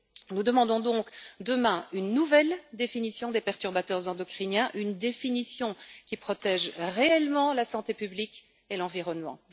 Nous demandons donc demain une nouvelle définition des perturbateurs endocriniens, définition protégeant réellement la santé publique et l'environnement.